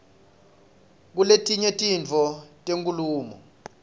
kuletinye titfo tenkhulumo